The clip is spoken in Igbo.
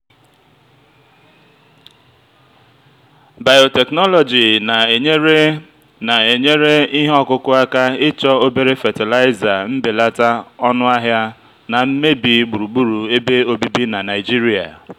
biotechnology na-enyere na-enyere ihe ọkụkụ aka ịchọ obere fatịlaịza mbelata ọnụ ahịa na mmebi gburugburu ebe obibi na nigeria.